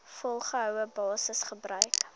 volgehoue basis gebruik